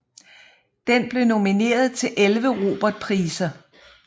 Den blev nomineret til 11 Robertpriser